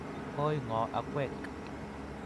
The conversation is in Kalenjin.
Oi ngo akwek?